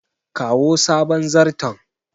kawo sabon zarton